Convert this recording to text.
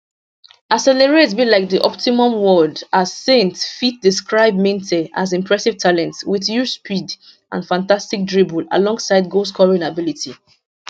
accelerate be like di optimum word as saintfiet describe minteh as impressive talent wit huge speed and fantastic dribble alongside goalscoring ability